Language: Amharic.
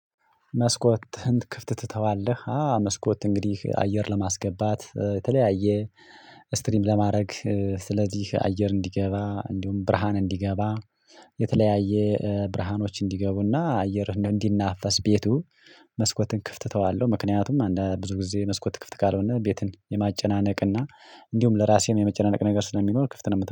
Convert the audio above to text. መስኮትህን ክፍት ትተዋለህ አዎ መስኮት እንግዲህ አየር ለማስገባት የተለያየ ስትሪም ለማድረግ ስለዚህ አየር እንዲገባ እንዲሁም ብርሃን እንዲገባ የተለያየ ብርሃኖች እንዲገቡና አየር እንዲናፈስ ቤቱ መስኮትን ክፍት ተዋለሁ። ምክንያቱም ብዙ ጊዜ መስኮት ክፍት ካልሆነ ቤትን የማጨናነቅ እና እንዲሁም ለራሴም የመጨናነቅ ነገር ስለሚሆን ክፍት ነው